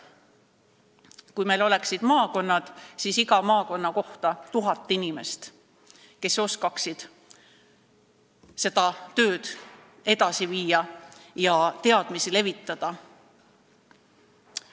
Kui meil oleksid maakonnad, siis oleks iga maakonna kohta 1000 inimest, kes oskaks seda tööd edasi viia ja teadmisi levitada.